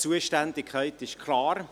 Die Zuständigkeit ist klar.